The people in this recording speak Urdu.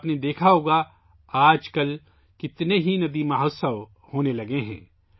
آپ نے دیکھا ہی ہوگا کہ آج کل کتنے 'ریور فیسٹیول' ہونے لگے ہیں